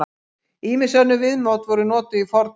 Ýmis önnur viðmið voru notuð í fornöld.